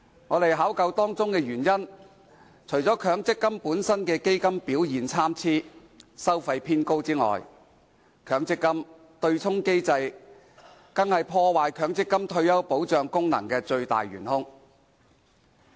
我們考究當中原因，除了強積金本身基金表現參差和收費偏高外，強積金對沖機制是破壞強積金退休保障功能的"最大元兇"。